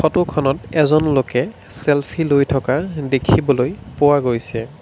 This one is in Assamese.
ফোটখনত এজন লোকে চেলফী লৈ থকা দেখিবলৈ পোৱা গৈছে।